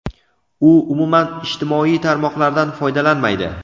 u umuman ijtimoiy tarmoqlardan foydalanmaydi.